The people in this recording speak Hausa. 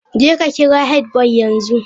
Jeka kira headboy yanzu!